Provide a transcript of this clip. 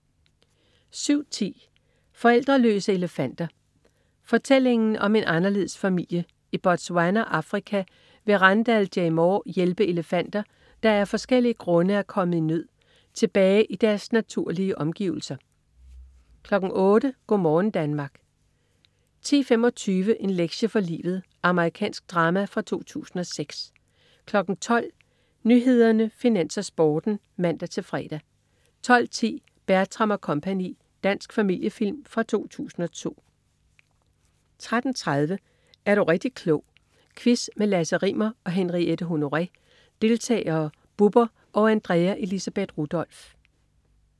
07.10 Forældreløse elefanter. Fortællingen om en anderledes familie. I Botswana, Afrika, vil Randall Jay Moore hjælpe elefanter, der af forskellige grunde er kommet i nød, tilbage i deres naturlige omgivelser 08.00 Go' morgen Danmark 10.25 En lektie for livet. Amerikansk drama fra 2006 12.00 Nyhederne, Finans, Sporten (man-fre) 12.10 Bertram & Co. Dansk familiefilm fra 2002 13.30 Er du rigtig klog. Quiz med Lasse Rimmer og Henriette Honoré. Deltagere: Bubber og Andrea Elisabeth Rudolph